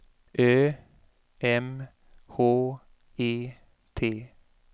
Ö M H E T